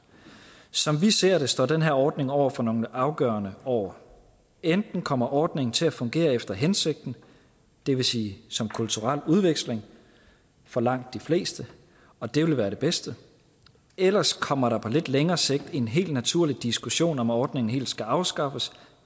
som vi ser det står den her ordning over for nogle afgørende år enten kommer ordningen til at fungere efter hensigten det vil sige som kulturel udveksling for langt de fleste og det vil være det bedste eller også kommer der på lidt længere sigt en helt naturlig diskussion om om ordningen helt skal afskaffes